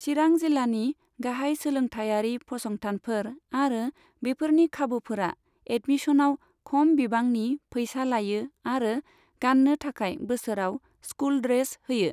चिरां जिल्लानि गाहाय सोलोंथायारि फसंथानफोर आरो बेफोरनि खाबुफोरा एदमिस'नआव खम बिबांनि फैसा लायो आरो गाननो थाखाय बोसोराव स्कुल ड्रेस होयो।